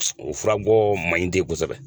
u furagɔ man ɲi ten kosɛbɛ.